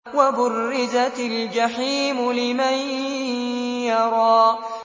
وَبُرِّزَتِ الْجَحِيمُ لِمَن يَرَىٰ